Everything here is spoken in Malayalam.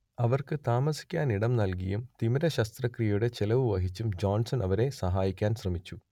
അവർക്ക് താമസിക്കാനിടം നൽകിയും തിമിരശസ്ത്രക്രിയയുടെ ചെലവ് വഹിച്ചും ജോൺസൺ അവരെ സഹായിക്കാൻ ശ്രമിച്ചു